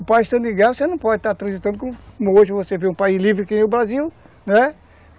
O país estando em guerra, você não pode estar transitando como hoje, você vê um país livre que nem o Brasil, né?